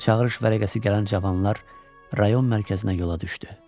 Çağırış vərəqəsi gələn cavanlar rayon mərkəzinə yola düşdü.